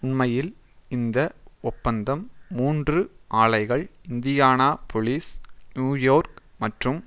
உண்மையில் இந்த ஒப்பந்தம் மூன்று ஆலைகள் இந்தியானாபொலிஸ் நியூ யோர்க் மற்றும்